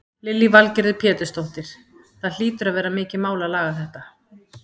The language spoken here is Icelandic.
Lillý Valgerður Pétursdóttir: Það hlýtur að vera mikið mál að laga þetta?